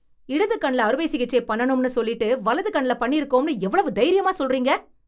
இடது கண்ல அறுவை சிகிச்சை பண்ணனும்னு சொல்லிட்டு வலது கண்ல பண்ணியிருக்கோம்னு எவ்வளவு தைரியமா சொல்றீங்க